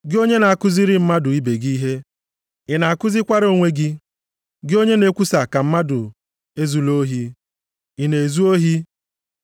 Gị onye na-akụziri mmadụ ibe gị ihe, ị na-akụzikwara onwe gị? Gị onye na-ekwusa ka mmadụ ezula ohi, ị na-ezu ohi?